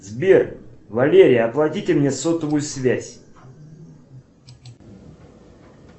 сбер валерия оплатите мне сотовую связь